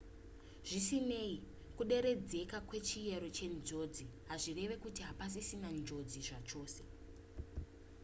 zvisinei kuderedzeka kwechiyero chenjodzi hazvireve kuti hapasisina njodzi zvachose